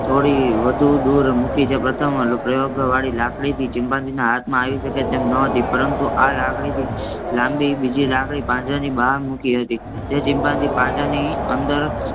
થોડી વધુ દૂર મૂકી છે. પ્રથમ પ્રયોગ વળી લાકડી થી ચિમ્પાન્જીના હાથમાં આવી શકે તેમ ન હતું પરંતુ આ લાકડીથી લાંબી બીજી લાકડી પાંજરાની બહાર મૂકી હતી. તે ચિમ્પાન્જી પાંજરાની અંદર